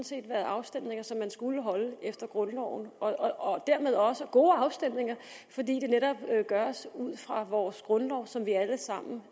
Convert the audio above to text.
set været afstemninger som man skulle holde efter grundloven og dermed også gode afstemninger fordi det netop gøres ud fra vores grundlov som vi alle sammen